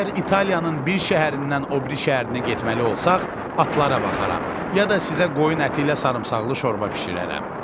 Əgər İtaliyanın bir şəhərindən o biri şəhərinə getməli olsaq, atlara baxaram, ya da sizə qoyun əti ilə sarımsaqlı şorba bişirərəm.